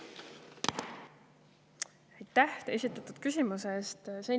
Aitäh esitatud küsimuse eest!